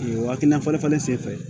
Waki na fɔli falen senfɛ